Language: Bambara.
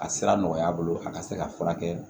A sira nɔgɔya bolo a ka se ka furakɛ